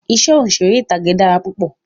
Iṣẹ́ òṣèré ìtàgé dára púpọ̀